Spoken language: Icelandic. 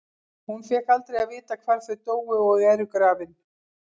Hún fékk aldrei að vita hvar þau dóu og eru grafin.